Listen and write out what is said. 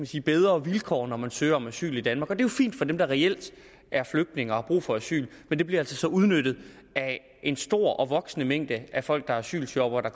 sige bedre vilkår når man søger om asyl i danmark og det er jo fint for dem der reelt er flygtninge og har brug for asyl men det bliver altså så udnyttet af en stor og voksende mængde af folk der er asylshoppere